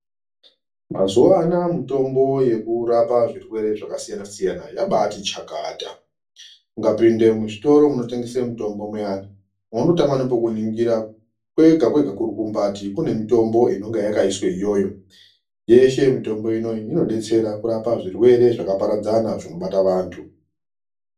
Mazuva anoa mitombo yekurapa zvirwere zvakasiyana-siyana yabaati chakata, ukapinda muzvitoro munotengeswa mitombo muyani, vanotanga nekumboningira, kwega-kwega kurukumbati kune mitombo inenge yakaiswa iyoyo. Yeshe mitombo inoyi inobatsira kurapa zvirwere, zvakaparadzana zvinobata vantu.